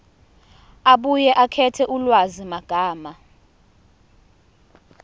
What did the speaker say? abuye akhethe ulwazimagama